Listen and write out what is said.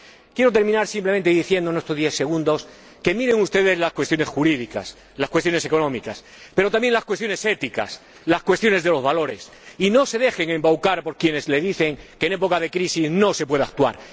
Quiero terminar simplemente diciendo en estos diez segundos que miren ustedes las cuestiones jurídicas, las cuestiones económicas, pero también las cuestiones éticas, las cuestiones de los valores, y que no se dejen embaucar por quienes les dicen que en época de crisis no se puede actuar.